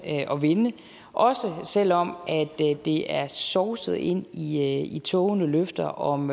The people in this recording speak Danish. og vinde også selv om det er det er sovset ind i ind i tågede løfter om